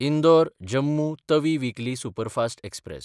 इंदोर–जम्मू Tawi weekly superfast express